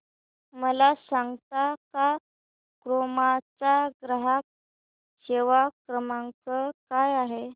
मला सांगता का क्रोमा चा ग्राहक सेवा क्रमांक काय आहे